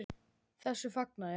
Þessu fagna ég.